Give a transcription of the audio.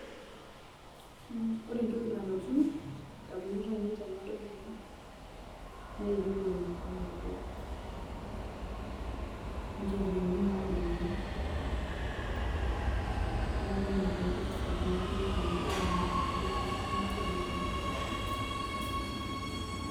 Ore entoki nalotu indamunot ainei tenadol ena nee erikore olarikok , olcheriani nadunguni. Niaku ina taa entoki nalotu indamunot aa irbungei lang osenetani.